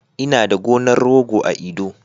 Ina da gonar rogo a Edo